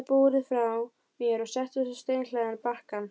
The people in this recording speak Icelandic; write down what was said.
Ég lagði búrið frá mér og settist á steinhlaðinn bakkann.